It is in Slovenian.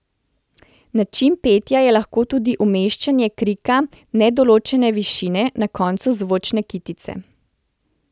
Način petja je lahko tudi umeščanje krika nedoločene višine na koncu zvočne kitice.